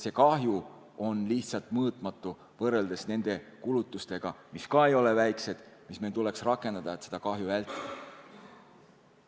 See kahju on lihtsalt mõõtmatu võrreldes nende kulutustega, mis ka ei ole väiksed, mis meil tuleks rakendada, et seda kahju vältida.